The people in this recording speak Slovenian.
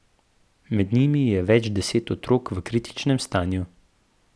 Med njimi je več deset otrok v kritičnem stanju.